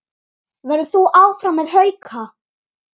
Verður þú áfram með Hauka?